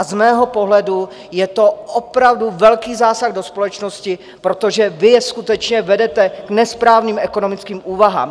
A z mého pohledu je to opravdu velký zásah do společnosti, protože vy je skutečně vedete k nesprávným ekonomickým úvahám.